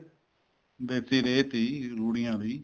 ਦੇਸੀ ਰੇਹ ਸੀ ਰੂੜੀਆਂ ਸੀ